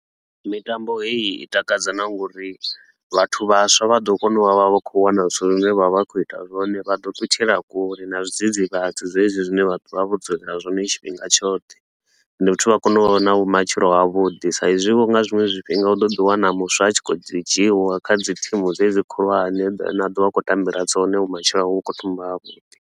Mitambo heyi i takadza na ngori vhathu vhaswa vha ḓo kona u vha vha khou wana zwithu zwine vha vha khou ita zwone. Vha ḓo ṱutshela kule na zwidzidzivhadzi dzedzi zwine vha ḓo vha vho dzulela zwone tshifhinga tshoṱhe. Ende futhi vha kone u vha na vhumatshelo ha vhuḓi, sa i zwi vho nga zwiṅwe zwifhinga u ḓo ḓi wana muswa a tshi khou dzi dzhiwa kha dzi thimu dzedzi khulwane, dzine a ḓo vha a khou tambela dzone vhumatshelo hawe vhu khou thoma hafhu.